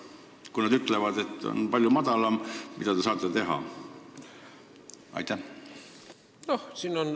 Kui nad ütlevad, et palk on palju madalam, mida te saate teha?